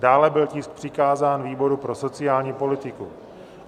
Dále byl tisk přikázán výboru pro sociální politiku.